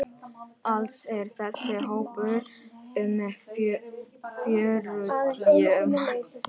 Alls er þessi hópur um fjörutíu manns.